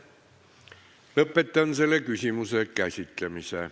Lõpetan selle küsimuse käsitlemise.